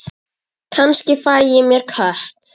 Kannski fæ ég mér kött.